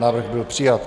Návrh byl přijat.